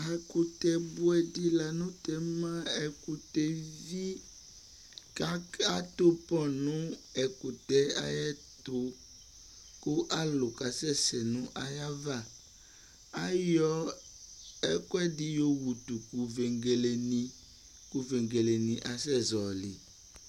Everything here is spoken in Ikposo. Ɛkʋtɛ bʋɛdɩ la nʋtɛ ma :bɛkʋtɛɛ evi ! Ka k'adʋ pɔ n'ɛkʋtɛɛ ayɛtʋ , k'alʋ k'asɛ sɛ n'ayava Ayɔ ɛkʋɛdɩ yowutʋ vegeledɩ , kʋ vegelenɩbasɛ zɔɔlɩ